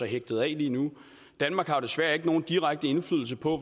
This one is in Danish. hægtet af lige nu danmark har jo desværre ikke nogen direkte indflydelse på